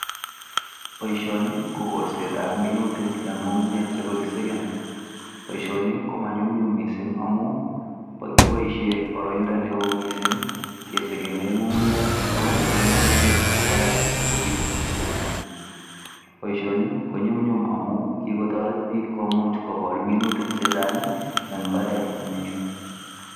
Boishoni ko kolsetab minuutik en ngungunyek chekakisegen. Boishoni komanyumnyum amun kiboishien boroindo newo missing kesegenen ng'ung'unyek ak komoche ngomnotet nemii barak, asikobiit kesegen. Boishoni konyumnyum amu kikotoret biik komuch kogol minutik chechang eng imbaret nemingiin.